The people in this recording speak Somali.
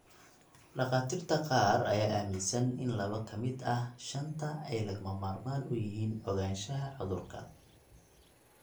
Dhakhaatiirta qaar ayaa aaminsan in laba ka mid ah shanta ay lagama maarmaan u yihiin ogaanshaha cudurka.